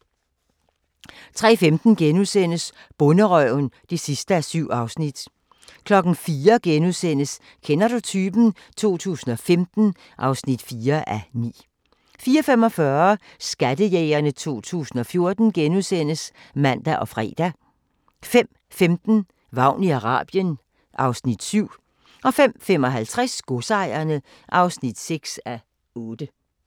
03:15: Bonderøven (7:7)* 04:00: Kender du typen? 2015 (4:9)* 04:45: Skattejægerne 2014 *(man og fre) 05:15: Vagn i Arabien (Afs. 7) 05:55: Godsejerne (6:8)